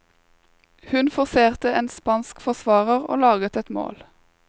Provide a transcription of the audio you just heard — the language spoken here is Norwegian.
Hun forserte en spansk forsvarer og laget et mål.